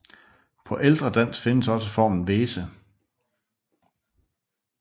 På ældre dansk findes også formen Vese